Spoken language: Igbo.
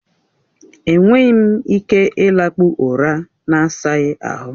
E nweghị m ike ịlakpụ ụra na-asaghị ahụ.